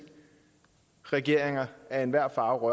regeringer af enhver farve